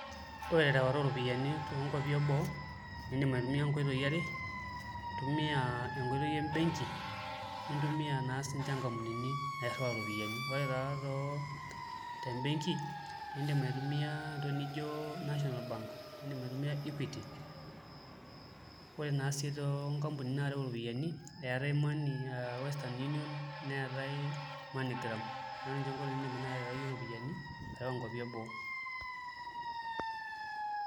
Ore erewata oropiyiani tonkwapi eboo indim aitumia nkoitoi are intumia enkoitoi embenki nintumia naa sinche nkampunini nairiwaa ropiyani na tebenki indim aitumia entoki nijo national bank indim aitumia equity ore si tonkampunini narew ropiyani eetae [cs[money Western Union neetae money gram neaku ninye nai nkoitoi nindim aterewie ropiyani arew nkwapi eboo.